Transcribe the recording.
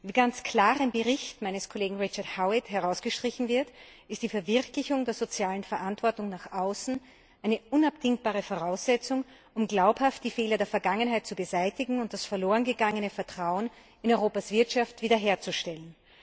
Wie ganz klar im Bericht meines Kollegen Richard Howitt herausgestrichen wird, ist die Verwirklichung der sozialen Verantwortung nach außen eine unabdingbare Voraussetzung, um glaubhaft die Fehler der Vergangenheit zu beseitigen und das verloren gegangene Vertrauen in Europas Wirtschaft wiederherzustellen.